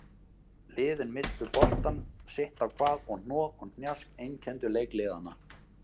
Liðin misstu boltann sitt á hvað og hnoð og hnjask einkenndu leik liðanna.